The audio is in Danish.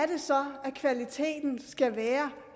det så at kvaliteten skal være